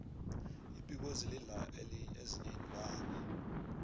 ibhubezi lidla ezinyei iinlwanyana